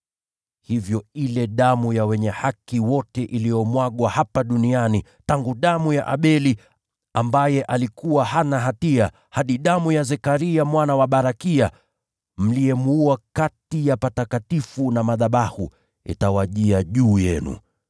Hivyo ile damu ya wenye haki wote iliyomwagwa hapa duniani, tangu damu ya Abeli, ambaye alikuwa hana hatia, hadi damu ya Zekaria mwana wa Barakia, mliyemuua kati ya patakatifu na madhabahu, itawajia juu yenu.